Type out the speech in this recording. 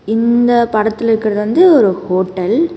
இந்த படத்துல இருக்கறது வந்து ஒரு ஹோட்டல் .